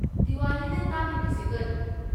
ꯗꯤꯋꯥꯂꯤꯅ ꯇꯥꯛꯂꯤꯕꯁꯦ ꯀꯔꯤꯅꯣ?